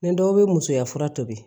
Ni dɔw bɛ musoya fura tobi